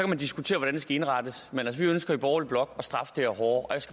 man diskutere hvordan det skal indrettes men vi ønsker i borgerlig blok at straffe det her hårdere